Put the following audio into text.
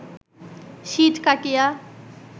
সিঁধ কাটিয়া